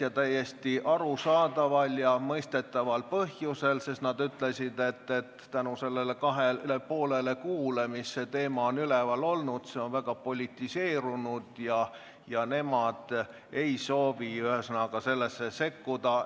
Ja täiesti arusaadaval ja mõistetaval põhjusel: nad ütlesid, et kuna teema on kaks ja pool kuud üleval olnud, on see väga politiseerunud ja nemad ei soovi sellesse sekkuda.